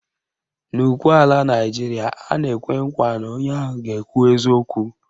N'ukwe ala Naịjiria, a na-ekwe nkwa na onye ahụ ga na-ekwu eziokwu